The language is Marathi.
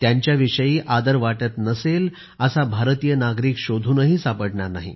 त्यांच्याविषयी आदर वाटत नसेल असा भारतीय नागरीक शोधूनही सापडणार नाही